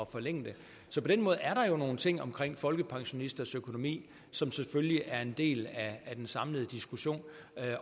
forlænge det så på den måde er der jo nogle ting i forhold folkepensionisters økonomi som selvfølgelig er en del af den samlede diskussion